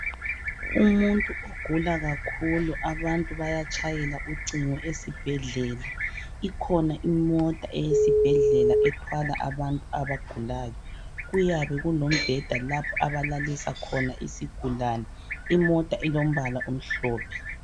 Umuntu ogula kakhulu abantu bayatshayela ucingo esibhedlela, ikhona imota eyesibhedlela ethwala abantu abagulayo kuyabe kulombheda lapho abalalisa khona isigulane imota ilombala omhlophe.